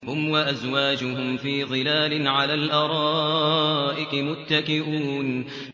هُمْ وَأَزْوَاجُهُمْ فِي ظِلَالٍ عَلَى الْأَرَائِكِ مُتَّكِئُونَ